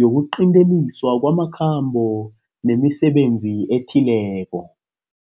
yokuqinteliswa kwamakhambo nemisebenzi ethileko.